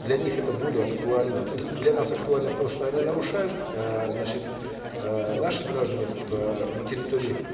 для них это более актуально то есть для нас актуально в том что они нарушают э значит э наши граждане э на территории